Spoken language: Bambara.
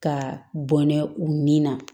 Ka bɔn n'a u nin na